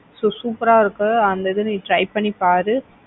So super ஆ இருக்கு அந்த இது நீ try பண்ணி பாரு.